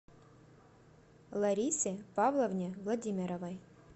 ларисе павловне владимировой